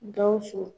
Gawusu